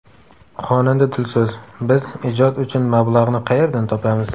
Xonanda Dilso‘z: Biz ijod uchun mablag‘ni qayerdan topamiz?